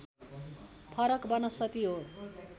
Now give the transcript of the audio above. फरक वनस्पति हो